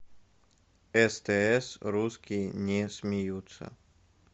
стс русские не смеются